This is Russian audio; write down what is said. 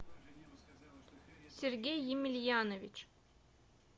сергей емельянович